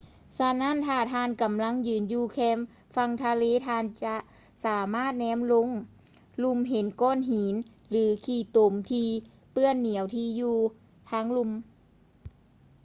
ສະນັ້ນ ຖ້າທ່ານກຳລັງຢືນຢູ່ແຄມຝັ່ງທະເລ ທ່ານຈະສາມາດແນມລົງລຸ່ມເຫັນກ້ອນຫີນ ຫຼື ຂີ້ຕົມທີ່ເປື້ອນໜຽວທີ່ຢູ່ທາງລຸ່ມ